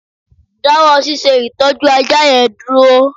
Dáwọ́ ṣíṣe ìtọ́jú ajá yẹn dúró